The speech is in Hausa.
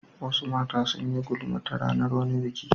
Wasu mata sun yi gulma ta ranar wani biki.